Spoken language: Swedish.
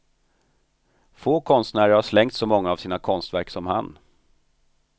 Få konstnärer har slängt så många av sina konstverk som han.